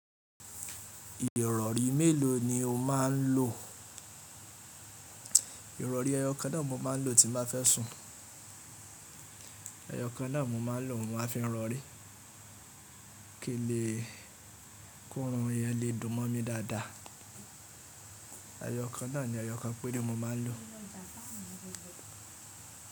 Ìrọ̀rí mélòó ni o máa ń lo? Ìrọ̀rí ẹyọ kan náà mo máa ń lo tí n ba fẹ́ sùn, ẹyọ kan náà mo máa ń lo mo máa fi rọrí, kìí n lè kórun yẹn lè dùn mọ́ mi dáadáa. Ẹ̀yọ kan náà ni ẹyọ kan péré mo máa ń lò.